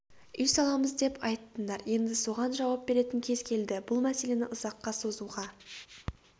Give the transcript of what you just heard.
үй саламыз деп айттыңдар енді соған жауап беретін кез келді бұл мәселені ұзаққа созуға